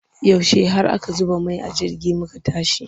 Yaushe har aka zuba mai a jirgin muka tashi?